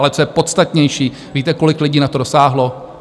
Ale co je podstatnější - víte, kolik lidí na to dosáhlo?